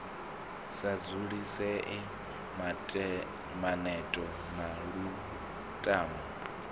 sa dzulisea maneto na lutamo